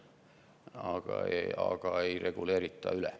Aga üle ei reguleerita.